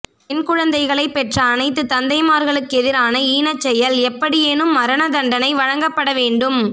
பெண் குழந்தைகளை பெற்ற அனைத்து தந்தைமார்களுக்கெதிரான ஈனச் செயல் எப்படியேனும் மரண தண்டனை வழங்கப்பட வேண்டும்